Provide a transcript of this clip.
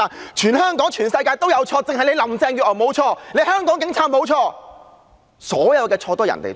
現在，好像是全香港有錯，只有林鄭月娥無錯，香港警察無錯，所有的錯都是別人的錯。